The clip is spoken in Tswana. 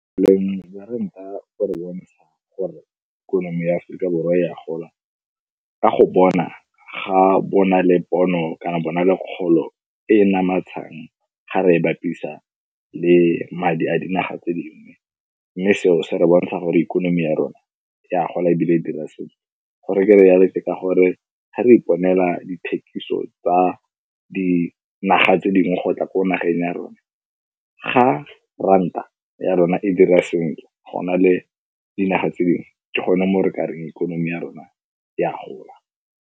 ranta bo bontsha gore ikonomi ya Aforika Borwa e a gola ka go bona ga bona le pono kana bona le kgolo e e namatshang ga re e bapisa le madi a dinaga tse dingwe, mme seo se re bontsha gore ikonomi ya rona e a gola ebile e dira sentle. Gore ke re yalo ke ka gore ga re iponela dithekiso tsa dinaga tse dingwe go tla ko nageng ya rona, ga ranta ya rona e dira sentle go na le dinaga tse dingwe, ke gone mo re ka reng ikonomi ya rona e a gola.